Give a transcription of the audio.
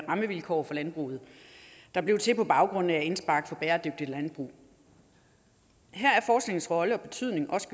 rammevilkår for landbruget der blev til på baggrund af indspark fra bæredygtigt landbrug her er forskningens rolle og betydning også